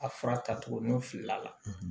A fura tacogo nɔ fili la